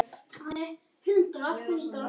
Ertu eitthvað að missa tökin?